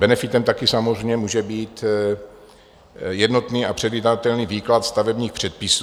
Benefitem taky samozřejmě může být jednotný a předvídatelný výklad stavebních předpisů.